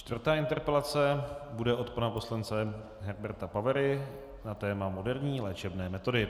Čtvrtá interpelace bude od pana poslance Herberta Pavery na téma moderní léčebné metody.